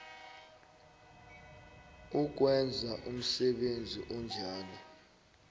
ukwenza umsebenzi onjalo